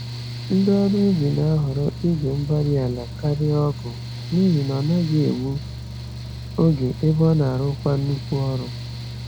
Ndị ọrụ ubi na-ahọrọ igwe-mgbárí-ala karịa ọgụ, n'ihi na ọ ọnaghị egbu oge, ebe ọnarụkwa nnukwu ọrụ